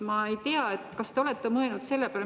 Ma ei tea, kas te olete mõelnud selle peale.